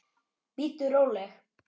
Bíddu róleg!